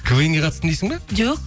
квн ге қатыстым дейсің бе жоқ